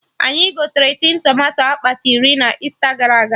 Anyị gotere tin tomato akpati iri na Easter gara aga